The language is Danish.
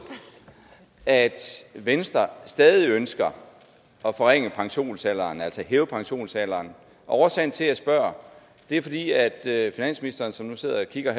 at venstre stadig ønsker at forringe pensionsalderen altså hæve pensionsalderen årsagen til at jeg spørger er at finansministeren som nu sidder og kigger